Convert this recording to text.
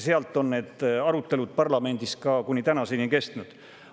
Sealt alates on need arutelud parlamendis kuni tänaseni kestnud.